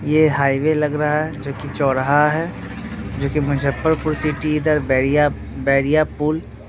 ये हाईवे लग रहा है जोकि चौराहा है जोकि मुजफ्फरपुर सिटी इधर बैरिया बैरिया पुल --